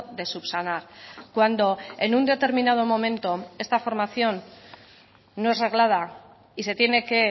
de subsanar cuando en un determinado momento esta formación no es reglada y se tiene que